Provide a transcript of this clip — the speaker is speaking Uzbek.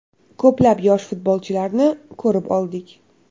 Ko‘plab yosh futbolchilarni ko‘rib oldik.